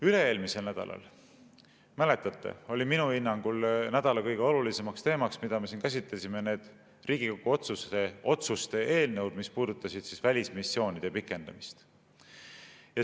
Üle-eelmisel nädalal, mäletate, olid minu hinnangul kõige olulisemaks teemaks, mida me käsitlesime, need Riigikogu otsuste eelnõud, mis puudutasid välismissioonide pikendamist.